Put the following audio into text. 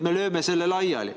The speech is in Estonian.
Me lööme selle laiali!